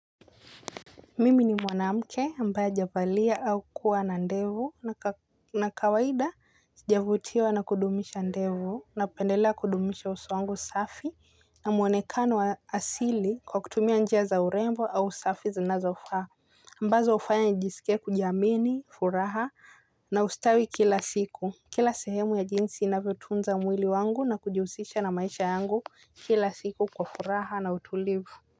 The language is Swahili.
Mimi ni mwanamke ambaye hajabalia au kuwa na ndevu. Na kawaida, sijavutiwa na kudumisha ndevu. Napendelea kudumisha uso wangu safi. Na muonekano wa asili kwa kutumia njia za urembo au safi zinazofaa. Ambazo hufanya njisikie kujiamini, furaha na ustawi kila siku. Kila sehemu ya jinsi inavyotunza mwili wangu na kujihusisha na maisha yangu. Kila siku kwa furaha na utulivu.